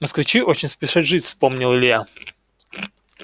москвичи очень спешат жить вспомнил илья